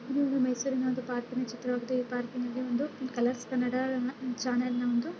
ಇದು ಒಂದು ಮೈಸೂರಿನ ಒಂದು ಪಾರ್ಕಿನ ಚಿತ್ರವಾಗಿದೆ ಈ ಪಾರ್ಕಿನಲ್ಲಿ ಒಂದು ಕಲರ್ಸ್ ಕನ್ನಡದ ಚಾನೆಲ್ನ ಒಂದು